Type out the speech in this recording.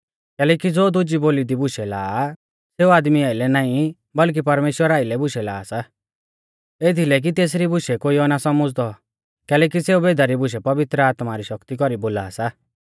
कैलैकि ज़ो दुजी बोली दी बुशै ला सेऊ आदमी आइलै नाईं बल्कि परमेश्‍वरा आइलै बुशै ला सा एथीलै कि तेसरी बुशै कोइयौ ना सौमझ़दौ कैलैकि सेऊ भेदा री बुशै पवित्र आत्मा री शक्ति कौरी बोला सा